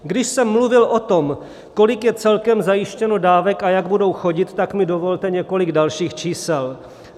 Když jsem mluvil o tom, kolik je celkem zajištěno dávek a jak budou chodit, tak mi dovolte několik dalších čísel.